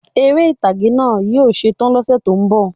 Eré ìtàgé náà yí ó setán lọ́sẹ̀ tó ń bò